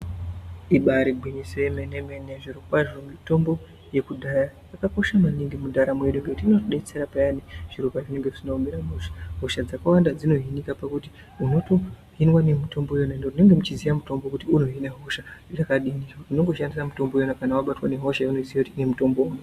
Ibaari gwinyiso yemenemene zvirokwazvo mitombo yekudhaya yakakosha maningi mundaramo yedu ngekuti inobetsera peyani zviro pazvinenge zvisina kumira mushe hosha dzakawanda dzinooneka pakuti unotoinwa nemitombo iyona munenge muchiziya mutombo kuti unorwara ngehosha yakadini wondoshandisa mitombo iyona kana wabatwa nehosha yaunoziya kuti ine mutombo.